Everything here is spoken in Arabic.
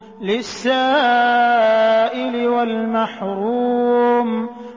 لِّلسَّائِلِ وَالْمَحْرُومِ